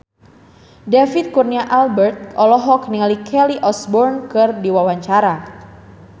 David Kurnia Albert olohok ningali Kelly Osbourne keur diwawancara